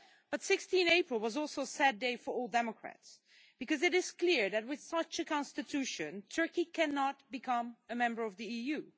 But 16 April was also a sad day for all democrats because it is clear that, with such a Constitution, Turkey cannot become a member of the EU.